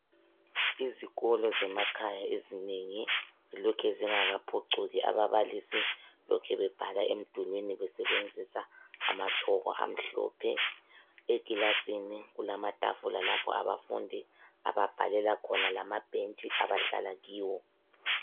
Izikolo zemakhaya ezinengi zilokhe zingakaphucuki. Ababalisi lokhe bebhala emdulini besebenzisa amatshoko amhlophe. Ekilasini kulamatafula lapho abafundi ababhalela khona lamabhentshi abahlala kiwo.